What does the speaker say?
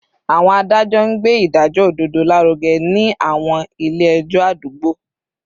Àwọn adájọ́ ń gbé ìdájọ́ òdodo lárugẹ ní àwọn ilé ẹjọ́ àdúgbò